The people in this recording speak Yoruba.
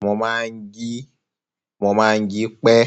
Mo máa ń jí, mo máa ń ji pẹ́,